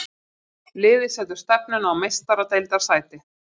Liðið setur stefnuna á Meistaradeildarsæti.